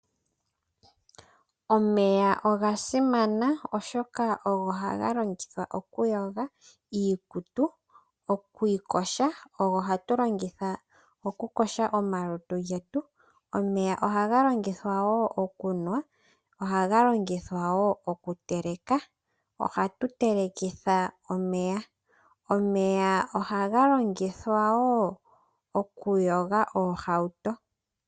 Omeya oga simana, oshoka ogo haga longithwa okuyoga iikutu nokuyoga omalutu getu. Omeya oga longithwa wo okunwa nohaga longithwa okuteleka. Omeya ohaga longithwa wo okuyoga oohauto.